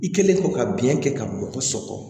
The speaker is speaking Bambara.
I kɛlen ko ka biɲɛ kɛ ka mɔgɔ sɔkɔ